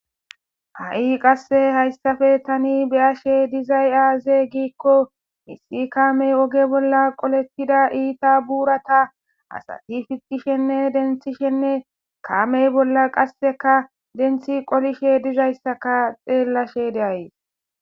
Hahi qase haysan tani beyashe dizay azze gikko kamey oge bolla qoletida buratane itata denthishe kame bola denthi qolishe deyssa xelash deyays